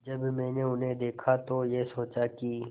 जब मैंने उन्हें देखा तो ये सोचा कि